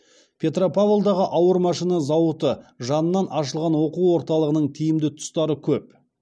петропавлдағы ауыр машина зауыты жанынан ашылған оқу орталығының тиімді тұстары көп